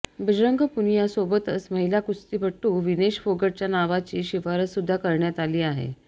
बजरंग पुनियासोबतच महिला कुस्तीपटू विनेश फोगाटच्या नावाची शिफारस सुद्धा करण्यात आली आहे